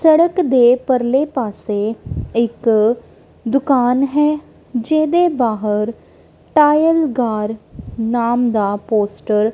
ਸੜਕ ਦੇ ਪਰਲੇ ਪਾੱਸੇ ਇੱਕ ਦੁਕਾਨ ਹੈ ਜਿਹਦੇ ਬਾਹਰ ਟਾਈਲਗਾਰ ਨਾਮ ਦਾ ਪੋਸਟਰ --